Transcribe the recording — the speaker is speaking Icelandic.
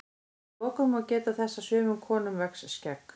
að lokum má geta þess að sumum konum vex skegg